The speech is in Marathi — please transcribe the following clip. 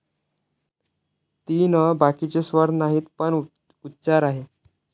तीन अ. बाकीचे स्वर नाहीत. पण उच्चार आहेत.